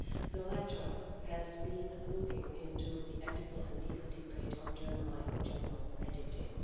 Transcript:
The latter has been looking into the ethical and legal debate on germline genome editing.